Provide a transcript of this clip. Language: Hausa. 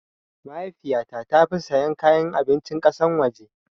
Mahaifiyata tafi sayan kayan abincin kasan waje